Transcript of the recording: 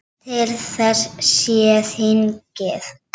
Til þess sé þingið.